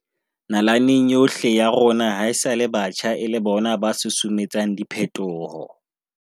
Nalaneng yohle ya rona haesale batjha e le bona ba susumetsang diphetoho.